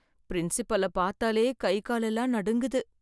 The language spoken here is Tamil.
பிரின்ஸ்பல பார்த்தாலே கை கால் எல்லாம் நடுங்குது.